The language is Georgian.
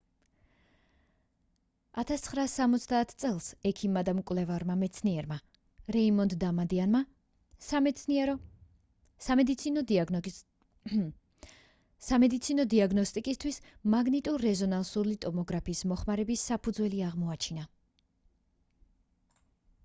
1970 წელს ექიმმა და მკვლევარმა მეცნიერმა რეიმონდ დამადიანმა სამედიცინო დიაგნოსტიკისთვის მაგნიტურ-რეზონანსული ტომოგრაფის მოხმარების საფუძველი აღმოაჩინა